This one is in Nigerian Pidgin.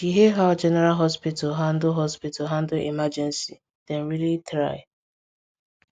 she hail how general hospital handle hospital handle emergency dem really try